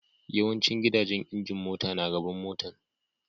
Yawancin gidajen injin mota na gaban motan.